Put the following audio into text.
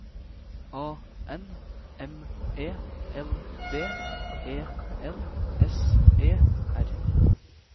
A N M E L D E L S E R